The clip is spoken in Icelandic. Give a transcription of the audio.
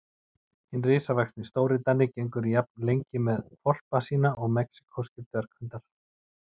Hinn risavaxni stórdani gengur jafn lengi með hvolpa sína og mexíkóskir dverghundar.